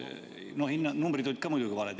No numbrid olid ka muidugi valed.